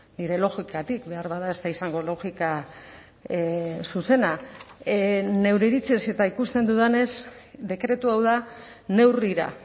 nire logikatik beharbada ez da izango logika zuzena neure iritziz eta ikusten dudanez dekretu hau da neurrira